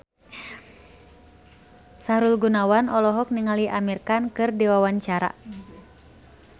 Sahrul Gunawan olohok ningali Amir Khan keur diwawancara